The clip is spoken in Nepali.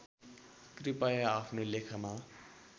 कृपया आफ्नो लेखमा